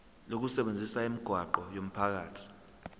lokusebenzisa imigwaqo yomphakathi